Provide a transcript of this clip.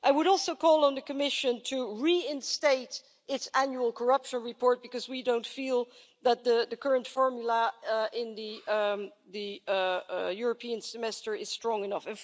I would also call on the Commission to reinstate its annual corruption report, because we don't feel that the current formula in the European semester is strong enough.